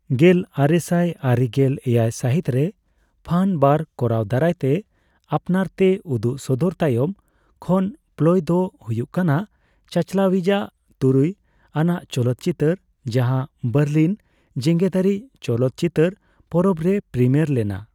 ᱜᱮᱞ ᱟᱨᱮᱥᱟᱭ ᱟᱨᱮᱜᱮᱞ ᱮᱭᱟᱭ ᱥᱟᱹᱦᱤᱛ ᱨᱮ ᱯᱷᱟᱱ ᱵᱟᱨ ᱠᱚᱨᱟᱣ ᱫᱟᱨᱟᱭᱛᱮ ᱟᱯᱱᱟᱨ ᱛᱮ ᱩᱫᱩᱜ ᱥᱚᱫᱚᱨ ᱛᱟᱭᱚᱢ ᱠᱷᱚᱱ ᱯᱞᱚᱭ ᱫᱚ ᱦᱩᱭᱩᱜ ᱠᱟᱱᱟ ᱪᱟᱪᱟᱞᱟᱣᱤᱡ ᱟᱜ ᱛᱩᱨᱩᱭ ᱟᱱᱟᱜ ᱪᱚᱞᱚᱛ ᱪᱤᱛᱟᱹᱨ, ᱡᱟᱦᱟᱸ ᱵᱟᱨᱞᱤᱱ ᱡᱮᱜᱮᱛᱟᱹᱨᱤ ᱪᱚᱞᱚᱛ ᱪᱤᱛᱟᱹᱨ ᱯᱚᱨᱚᱵᱽ ᱨᱮ ᱯᱨᱤᱢᱤᱭᱟᱨ ᱞᱮᱱᱟ ᱾